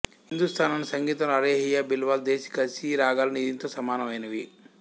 హిందుస్తానీ సంగీతంలో అలైహియ బిలావల్ దేశికసి రాగాలు దీనితో సమానమైనవి